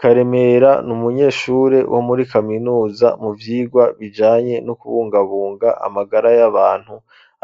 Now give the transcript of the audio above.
Karemera, ni umunyeshure, wo muri kaminuza, mu vyigwa bijanye, no kubungabunga, amagara y'abantu;